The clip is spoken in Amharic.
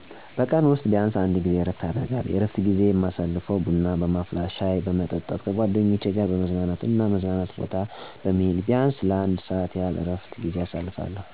በቀን ውስጥ ቢያንሰ አንድ ጊዜ እረፍት አደርጋለሁ። የእረፍት ጊዜዪ የማሳልፈው ቡና በማስፈላት፣ ሻይ በመጠጣት፣ ከጓደኞቼ ጋር በመዝናናት እና መዝናኛ ቦታ በመሄድ ቢያንስ ለአንድ ሰዓት ያህል የእረፍት ጊዜየን አሳልፋለሁ።